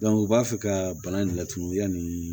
u b'a fɛ ka bana in laturu yanni